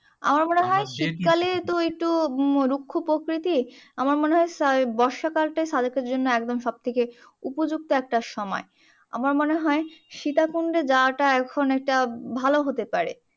আমার মনে হয় শীতকালে তো একটু রুক্ষ প্রকৃতি। আমার মনে হয় বর্ষকাল টাই সাজেকের জন্য একদম সবথেকে উপযুক্ত একটা সময়। আমার মনে হয় সীতাকুণ্ডে যাওয়াটা এখন এটা ভালো হতে পারে।